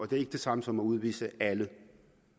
det er ikke det samme som at udvise alle